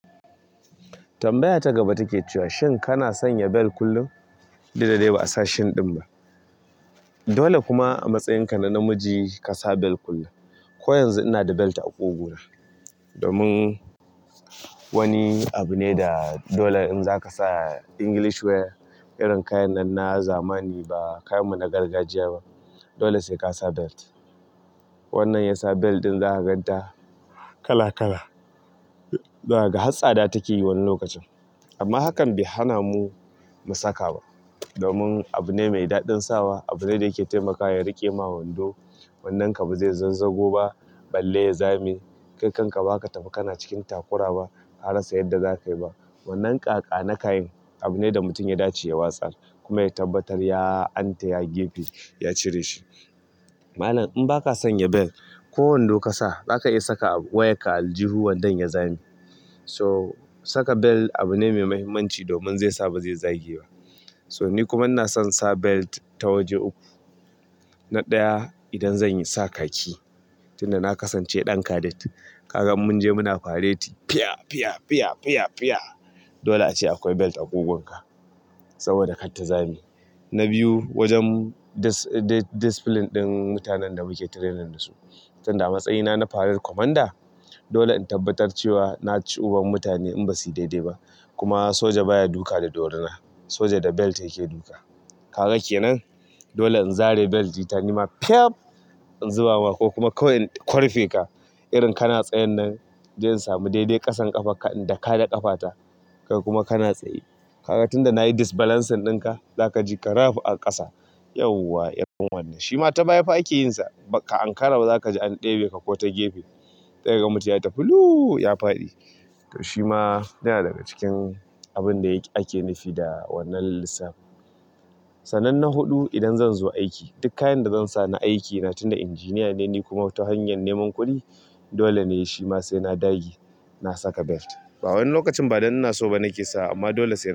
Tambaya ta gaba ta ke cewa shin kana sanya bel kullum? Daidai ba a sa shin ɗin ba. Dole kuma a matsayinka na namiji ka sa bel kullum. Ko yanzu ina da belt a ƙugu na. Domin wani abu ne da dole in za ka sa English wear, irin kayan nan na zamani ba kayan mu na gargajiya ba. Dole sai ka sa belt. Wannan yasa belt ɗin za ka gan ta kala kala. Za ka ga hatsaɗa take yi wani lokacin. Amma hakan bai hana mu, mu saka ba. Domin abu ne mai daɗin sawa. Abu ne da yake taimakawa ya riƙe ma wando wannan ka ba zai zazzago ba, balle ya zame kai kan ka ba za ka tafi kana cikin takura ba, ka rasa yan da za ka yi ba wannan ƙaƙani kayan abu ne da mutum ya dace ya watsar kuma ya tabbatar ya antaya gefe, ya cire shi. Malam in baka sanya belt, ko wando ka sa, za ka iya sa ka wayar ka a aljihu wandon ya zame to saka bel abu ne mai mahimmanci domin zai sa ba zai zage ba. So ni kuma ina son sa belt ta waje uku. Na ɗaya, idan zan sa khaki tunda na kasance ɗan cadet. Ka ga in munje muna fareti fiya fiya fiya. Dole a ce akwai belt a ƙugunka saboda kar ta zame. Na biyu wajen discipline ɗin mutanen da mu ke training da su tunda a matsayina na parade commander, dole in tabbatar cewa na ci uban mutane in ba su daidai ba. Kuma soja ba ya duka da dorina. Soja da belt yake duka. Kaga ke nan? Dole in zare belti ta nema fef in zuba ma ko kuma kawai in korfe ka. Irin kana tsayan nan, sai in je in sa mu daidai ƙasan ƙafan ka in daka da ƙafata. Kai kuma kana tsaye. Kaga tunda na yi disbalancing ɗin ka, za ka ji ka rab a ƙasa. Yauwa irin wannan, shi ma ta baya a ke yin sa ba ka ankara ba za ka ji an ɗebe ka ko ta gefe. Sai ka ga mutum ya tafi luu ya faɗi. Shi ma yana daga cikin abun da yake ake nufi da wannan lissafi. Sanan na huɗu idan zan zo aiki, duk kayan da zan sami aiki na tuna engineer ne, ni kuma ta hanyar neman kuɗi. Dole ne shi ma sai na dage, na saka belt. Ba wani lokacin ba wai don ina so ba na ke sawa amma dole.